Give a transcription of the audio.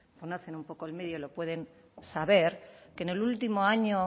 conocen un poco el medio y lo pueden saber que en el último año